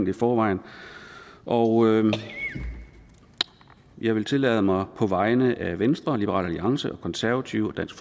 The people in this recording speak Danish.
i forvejen og jeg vil tillade mig på vegne af venstre liberal alliance konservative og dansk